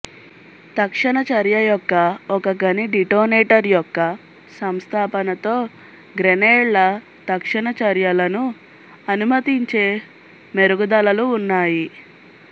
తక్షణ చర్య యొక్క ఒక గని డిటోనేటర్ యొక్క సంస్థాపనతో గ్రెనేడ్ల తక్షణ చర్యలను అనుమతించే మెరుగుదలలు ఉన్నాయి